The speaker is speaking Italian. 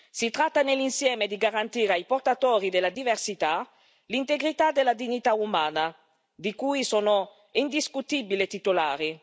Si tratta nell'insieme di garantire ai portatori della diversità, l'integrità della dignità umana di cui sono indiscutibili titolari.